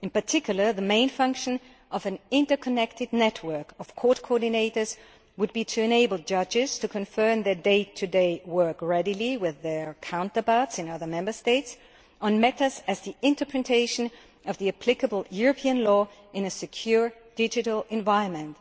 In particular the main function of an interconnected network of court coordinators would be to enable judges to readily confer on their day to day work with their counterparts in other Member States on matters such as the interpretation of the applicable European law in a secure, digital environment.